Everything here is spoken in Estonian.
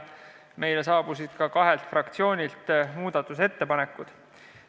Meile saabusid muudatusettepanekud kahelt fraktsioonilt.